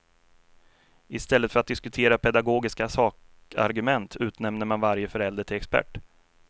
I stället för att diskutera pedagogiska sakargument utnämner man varje förälder till expert.